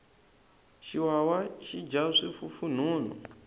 xiwawa xi dya swifufunhunhu